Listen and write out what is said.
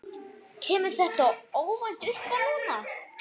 Kemur þetta óvænt uppá núna?